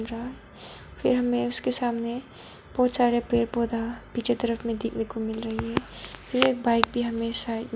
रा फिर हमें उसके सामने बहुत सारे पेड़ पौधा पीछे तरफ में देखने को मिल रहे हैं फिर एक बाइक भी हमे साइड --